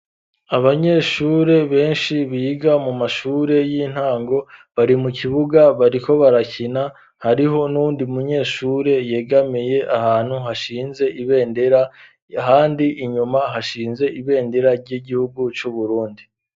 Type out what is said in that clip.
Abanyeshure benshi biga mu mashure y'intango bari mu kibuga bariko barakina hariho n'undi munyeshure yegameye ahantu hashinze ibendera handi inyuma hashinze ibendera ry'igihugu c'uburundi.